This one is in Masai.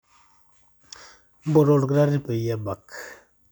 mpoto olkitari peyie ebak